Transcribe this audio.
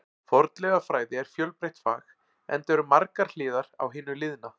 Fornleifafræði er fjölbreytt fag, enda eru margar hliðar á hinu liðna.